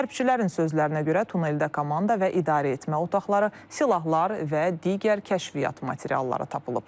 Hərbçilərin sözlərinə görə tuneldə komanda və idarəetmə otaqları, silahlar və digər kəşfiyyat materialları tapılıb.